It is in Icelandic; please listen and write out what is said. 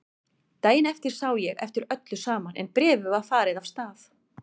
Daginn eftir sá ég eftir öllu saman en bréfið var farið af stað.